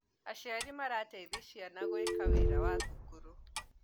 Aciari marateithia ciana gũeka wĩra wa thukuru